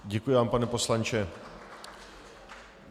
Děkuji vám, pane poslanče.